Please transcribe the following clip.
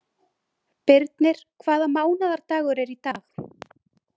Birnir, hvaða mánaðardagur er í dag?